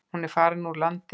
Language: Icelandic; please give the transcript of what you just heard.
Hún er farin úr landi.